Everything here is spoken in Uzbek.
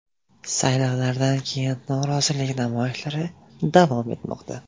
Saylovlardan keyin norozilik namoyishlari davom etmoqda.